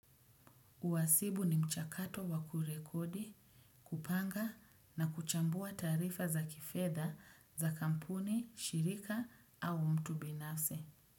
Uhasibu ni mchakato wa kurekodi, kupanga na kuchambua taarifa za kifeda za kampuni, shirika au mtu binafsi.